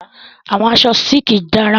Àwọn aṣọ sílíkì dára.